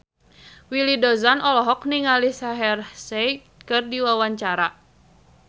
Willy Dozan olohok ningali Shaheer Sheikh keur diwawancara